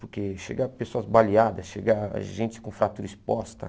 Porque chega pessoas baleadas, chega gente com fratura exposta.